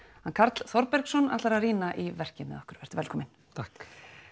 hann Karl Þorbergsson ætlar að rýna í verki með okkur vertu velkominn takk